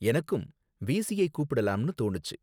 எனக்கும் வீஸியை கூப்பிடலாம்னு தோணுச்சு.